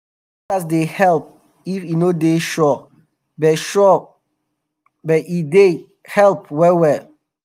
forecast dey help e no dey sure but sure but e dey um help um well well